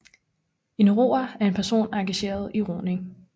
En roer er en person engageret i roning